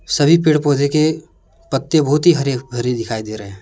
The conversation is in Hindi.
सभी पेड़ पौधे के पत्ते बहुत ही हरे भरे दिखाई दे रहे हैं।